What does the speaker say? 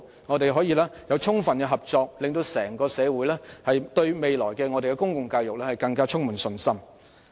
我們希望透過充分合作，使整個社會對未來的公共教育更加充滿信心。